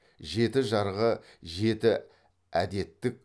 жеті жарғы жеті әдеттік